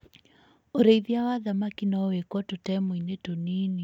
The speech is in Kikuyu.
ũrĩithia wa thamaki no wĩkwo tũtemu-inĩ tũnini.